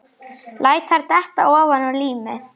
Læt þær detta ofaná límið.